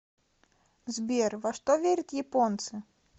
сбер во что верят японцы